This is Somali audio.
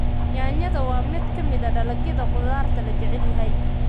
Yaanyada waa mid ka mid ah dalagyada khudaarta la jecel yahay.